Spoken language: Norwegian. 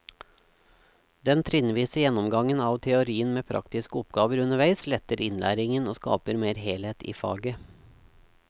Den trinnvise gjennomgangen av teorien med praktiske oppgaver underveis letter innlæringen og skaper mer helhet i faget.